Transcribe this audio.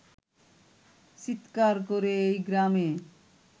চিৎকার করে এই গ্রামে